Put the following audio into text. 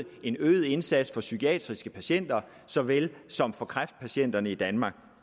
en øget indsats for psykiatriske patienter såvel som for kræftpatienterne i danmark